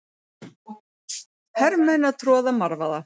Hermenn að troða marvaða.